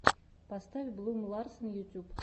поставь блум ларсен ютьюб